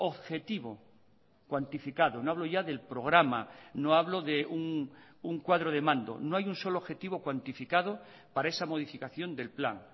objetivo cuantificado no hablo ya del programa no hablo de un cuadro de mando no hay un solo objetivo cuantificado para esa modificación del plan